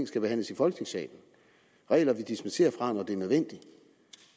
skal behandles i folketingssalen regler vi dispenserer fra når det er nødvendigt